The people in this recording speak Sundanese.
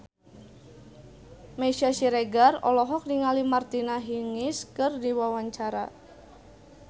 Meisya Siregar olohok ningali Martina Hingis keur diwawancara